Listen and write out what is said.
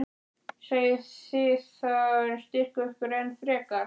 Eigið þið þá eftir að styrkja ykkur enn frekar?